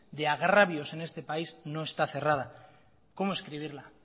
de agravios en este país no está cerrada cómo escribirla